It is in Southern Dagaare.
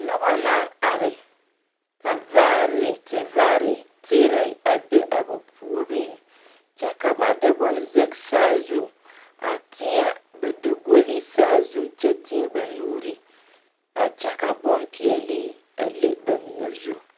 Noba naŋ are ka vaare tevaare teere a be a ba puoriŋ kyɛ ka ba de bonne zage saa zu a teɛ ba dagoli saa su kyɛ teɛ ba nuuri a kyɛ ka bonpeɛlle a le ba mine zu.